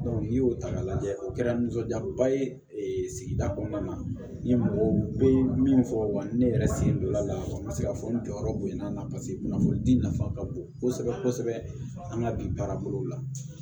n'i y'o ta k'a lajɛ o kɛra nisɔndiyaba ye sigida kɔnɔna na n ye mɔgɔw bɛ min fɔ wa ni yɛrɛ sen don la la n bɛ se ka fɔ n jɔyɔrɔ bonyana paseke kunnafonidi nafa ka bon kosɛbɛ kosɛbɛ an ka bi baarabolo la